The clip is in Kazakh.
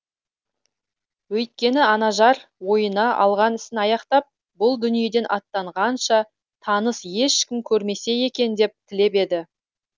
өйткені анажар ойына алған ісін аяқтап бұл дүниеден аттанғанша таныс ешкім көрмесе екен деп тілеп еді